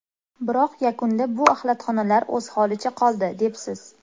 Biroq yakunda bu axlatxonalar o‘z holicha qoldi” debsiz.